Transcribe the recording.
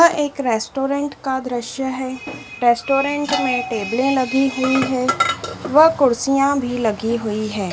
यह एक रेस्टोरेंट का दृश्य है रेस्टोरेंट में टेबले लगी हुई है व कुर्सियां भी लगी हुई है।